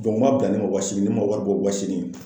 m'a bila ne ma waa seegin ne ma wari bɔ waa seegin